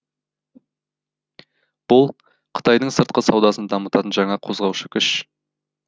бұл қытайдың сыртқы саудасын дамытатын жаңа қозғаушы күш